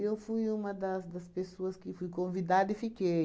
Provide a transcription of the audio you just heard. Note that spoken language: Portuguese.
fui uma das das pessoas que fui convidada e fiquei.